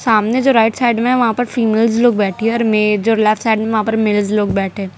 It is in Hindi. सामने जो राइट साइड में है वहां पर फीमेल्स लोग बैठी है में जो लेफ्ट साइड में है वहां पर मेल्स लोग बैठे --